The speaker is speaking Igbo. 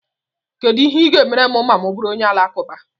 Kedu ihe ị ga-emere m ma M bụrụ onye Alakụba?